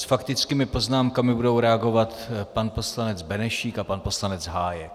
S faktickými poznámkami budou reagovat pan poslanec Benešík a pan poslanec Hájek.